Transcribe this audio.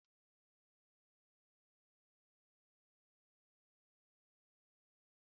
Egusi bu nri igbo, a kachasi eji eba ma obu akpụ eri ya